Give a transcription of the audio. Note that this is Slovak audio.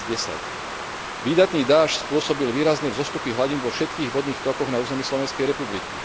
2010. Výdatný dážď spôsobil výrazné vzostupy hladín vo všetkých vodných tokoch na území Slovenskej republiky.